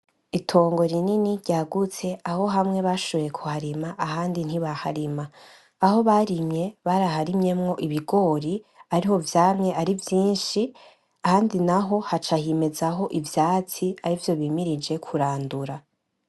Itongo rinini ryagutse aho hamwe bashoboye kuharima ahandi ntibaharima, aho barimye baraharimyemo ibigori ariho vyamye ari vyinshi. Ahandi naho haca himezaho ivyatsi ari vyo bimirije kurandura.